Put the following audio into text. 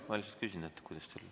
Ma lihtsalt küsin, et kuidas teil on.